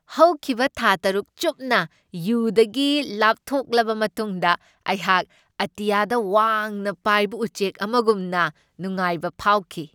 ꯍꯧꯈꯤꯕ ꯊꯥ ꯇꯔꯨꯛ ꯆꯨꯞꯅ ꯌꯨꯗꯒꯤ ꯂꯥꯞꯊꯣꯛꯂꯕ ꯃꯇꯨꯡꯗ ꯑꯩꯍꯥꯛ ꯑꯇꯤꯌꯥꯗ ꯋꯥꯡꯅ ꯄꯥꯏꯕ ꯎꯆꯦꯛ ꯑꯃꯒꯨꯝꯅ ꯅꯨꯉꯥꯏꯕ ꯐꯥꯎꯈꯤ ꯫